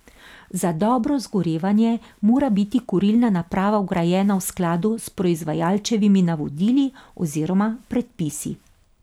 Za dobro zgorevanje mora biti kurilna naprava vgrajena v skladu s proizvajalčevimi navodili oziroma predpisi.